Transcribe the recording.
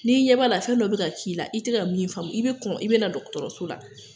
N'i ɲɛ b'a la, fɛn dɔ bɛ ka k'i la, i tɛ ka min famu, i bɛ kɔn, i bɛ na dɔgɔtɔrɔso la